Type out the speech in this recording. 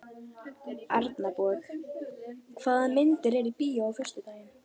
Arnborg, hvaða myndir eru í bíó á föstudaginn?